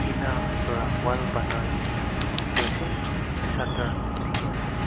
Tina para wall bana neshina dekhey ase shutter dekhey ase.